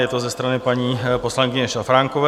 Je to ze strany paní poslankyně Šafránkové.